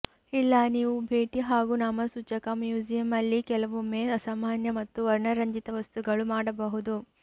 ಇಲ್ಲ ನೀವು ಭೇಟಿ ಹಾಗೂ ನಾಮಸೂಚಕ ಮ್ಯೂಸಿಯಂ ಅಲ್ಲಿ ಕೆಲವೊಮ್ಮೆ ಅಸಾಮಾನ್ಯ ಮತ್ತು ವರ್ಣರಂಜಿತ ವಸ್ತುಗಳು ಮಾಡಬಹುದು